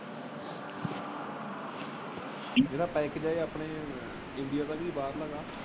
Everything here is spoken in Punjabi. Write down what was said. ਇਹਦਾ ਇੰਡੀਆ ਦਾ ਕੇ ਬਾਹਰਲਾ ਆ।